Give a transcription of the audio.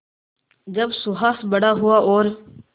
जब सुहास बड़ा हुआ और